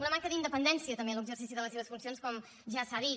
una manca d’independència també en l’exercici de les seves funcions com ja s’ha dit